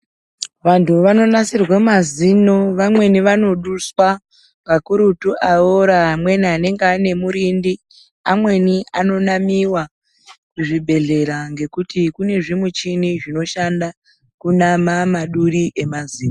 Vantu vanonasirwe mazino vamweni vanoduswa vakurutu aora amweni anenge anemurindi amweni anonamiwa kuzvibhedhlera ngekuti kunezvimuchini zvinoshanda kunama maduri emazino.